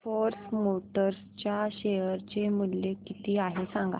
force Motors च्या share चे मूल्य किती आहे सांगा